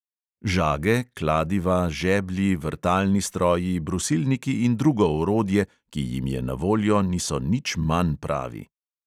Žage, kladiva, žeblji, vrtalni stroji, brusilniki in drugo orodje, ki jim je na voljo, niso nič manj pravi.